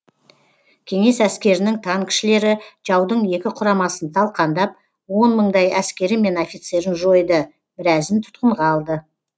кеңес әскерінің танкішілері жаудың екі құрамасын талқандап он мыңдай әскері мен офицерін жойды біразын тұтқынға алды